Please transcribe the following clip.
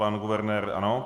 Pan guvernér ano.